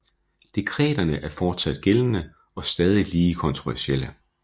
Dekreterne er fortsat gældende og stadig lige kontroversielle